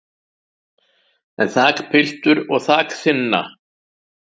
en þakpiltur og þak þynna